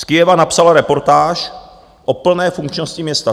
Z Kyjeva napsala reportáž o plné funkčnosti města.